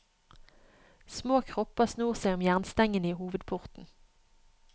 Små kropper snor seg om jernstengene i hovedporten.